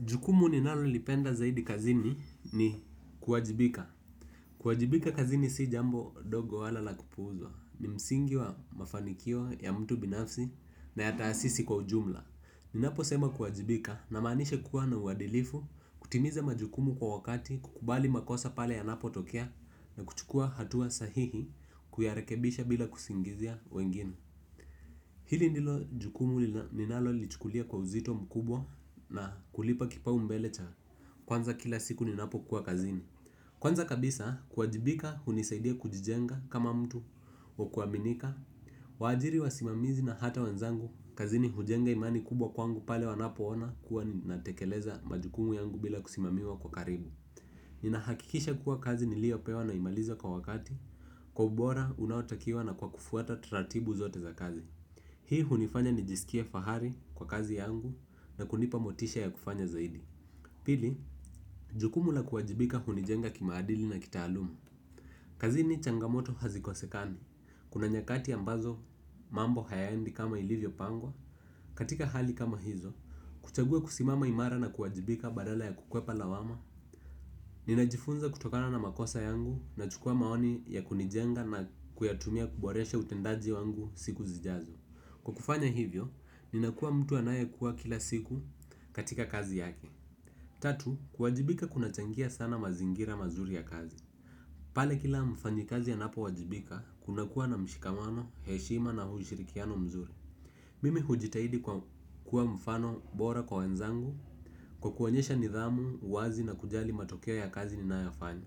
Jukumu ninalolipenda zaidi kazini ni kuwajibika. Kuwajibika kazini si jambo ndogo wala la kupuuza. Ni msingi wa mafanikio ya mtu binafsi na hata ya sisi kwa ujumla. Ninapo sema kuwajibika namaanishe kuwa na uwadilifu kutimiza majukumu kwa wakati kukubali makosa pale yanapo tokea na kuchukua hatua sahihi kuyarekebisha bila kusingizia wengine. Hili ndilo jukumu ninalo lichukulia kwa uzito mkubwa na kulipa kipau mbele cha kwanza kila siku ni napokuwa kazini. Kwanza kabisa kuwajibika hunisaidia kujijenga kama mtu wa kuaminika. Waajiri wasimamizi na hata wenzangu kazini hujenga imani kubwa kwangu pale wanapo ona kuwa natekeleza majukumu yangu bila kusimamiwa kwa karibu. Ninahakikisha kuwa kazi niliopewa naimaliza kwa wakati kwa ubora unaotakiwa na kwa kufuata taratibu zote za kazi. Hii hunifanya nijisikie fahari kwa kazi yangu na kunipa motisha ya kufanya zaidi. Pili, jukumu la kuwajibika hunijenga kimaadili na kitaaluma. Kazini changamoto hazikosekani, kuna nyakati ambazo mambo hayaendi kama ilivyo pangwa. Katika hali kama hizo, kuchagua kusimama imara na kuwajibika badala ya kukwepa lawama. Ninajifunza kutokana na makosa yangu nachukua maoni ya kunijenga na kuyatumia kuboresha utendaji wangu siku zijazo. Kwa kufanya hivyo, ninakuwa mtu anayekua kila siku katika kazi yake. Tatu, kuwajibika kunachangia sana mazingira mazuri ya kazi. Pale kila mfanyi kazi anapo wajibika, kunakuwa na mshikamano, heshima na ushirikiano mzuri. Mimi hujitahidi kuwa mfano bora kwa wenzangu kwa kuonyesha nidhamu, wazi na kujali matokeo ya kazi ninayofanya.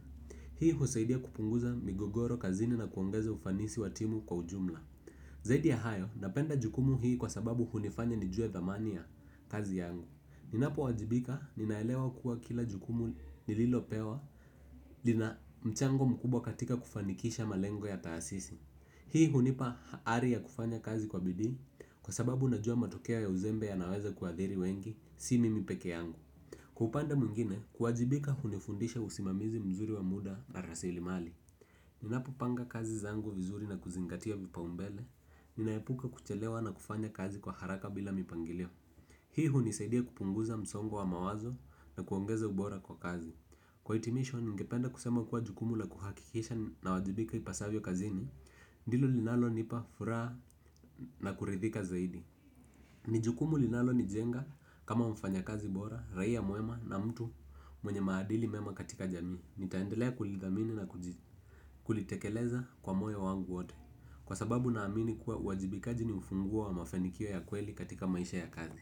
Hii husaidia kupunguza migogoro kazini na kuongeza ufanisi wa timu kwa ujumla. Zaidi ya hayo, napenda jukumu hii kwa sababu hunifanya nijue thamani ya kazi yangu. Ninapowajibika ninaelewa kuwa kila jukumu nililopewa. Lina mchango mkubwa katika kufanikisha malengo ya taasisi. Hii hunipa ari ya kufanya kazi kwa bidi kwa sababu najua matokea ya uzembe yanaweza kuadhiri wengi. Si mimi peke yangu. Kwa upande mwingine, kuwajibika hunifundisha usimamizi mzuri wa muda na rasilimali. Ninapo panga kazi zangu vizuri na kuzingatia vipaumbele. Ninaepuka kuchelewa na kufanya kazi kwa haraka bila mipangilio. Hii hunisaidia kupunguza msongo wa wa mawazo na kuongeza ubora kwa kazi. Kwa hitimisho, ningependa kusema kuwa jukumu la kuhakikisha nawajibika ipasavyo kazini. Ndilo linalo nipa furaha na kuridhika zaidi. Ni jukumu linalo nijenga kama mfanya kazi bora, raia mwema na mtu mwenye maadili mema katika jamii. Nitaendelea kulidhamini na kulitekeleza kwa moyo wangu wote. Kwa sababu naamini kuwa uwajibikaji ni ufunguo wa mafanikio ya kweli katika maisha ya kazi.